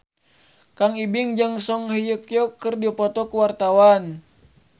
Kang Ibing jeung Song Hye Kyo keur dipoto ku wartawan